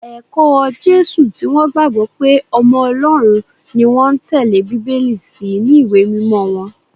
Ẹ̀kọ́ Jésù tí wọ́n gbàgbọ́ pé ọmọ Ọlọ́run ni wọ́n ń tẹ́lé Bíbélì sì ni ìwé mímọ wọn